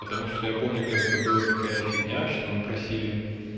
потому что я помню когда ты была такая фигня что мы просили